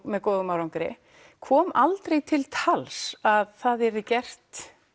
með góðum árangri kom aldrei til tals að það yrði gert